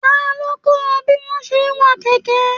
Talo kọ ọ bí wọn ṣe n wa kẹkẹ?